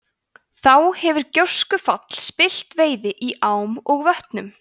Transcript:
þá hefur gjóskufall spillt veiði í ám og vötnum